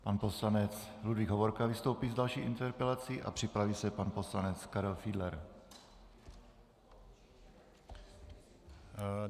Pan poslanec Ludvík Hovorka vystoupí s další interpelací a připraví se pan poslanec Karel Fiedler.